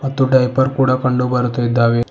ಮತ್ತು ಡೈಪರ್ ಕೂಡ ಕಂಡು ಬರ್ತಾ ಇದ್ದಾವೆ.